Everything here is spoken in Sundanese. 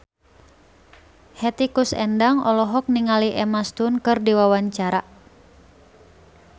Hetty Koes Endang olohok ningali Emma Stone keur diwawancara